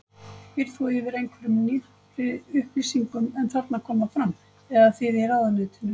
Býrð þú yfir einhverjum nýrri upplýsingum en þarna koma fram, eða þið í ráðuneytinu?